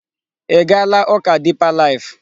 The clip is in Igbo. Ị gaala ụka Deeper Life?